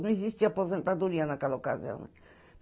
Não existia aposentadoria naquela ocasião.